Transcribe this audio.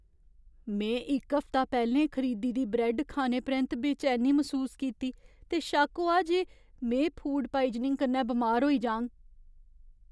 में इक हफ्ता पैह्लें खरीदी दी ब्रैड्ड खाने परैंत्त बेचैनी मसूस कीती ते शक्क होआ जे में फूड पाइजनिंग कन्नै बमार होई जाङ।